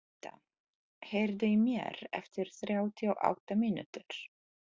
Anita, heyrðu í mér eftir þrjátíu og átta mínútur.